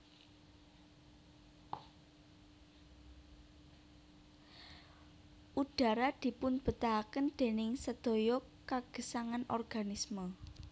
Udhara dipunbetahaken déning sedaya kagesangan organisme